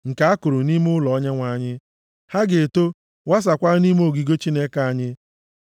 nke a kụrụ nʼime ụlọ Onyenwe anyị, ha ga-eto, wasaakwa nʼime ogige Chineke anyị.